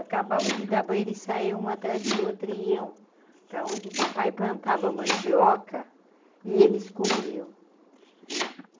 Acabava de dar banho e saia um atrás do outro e iam para onde o papai plantava mandioca e eles comiam.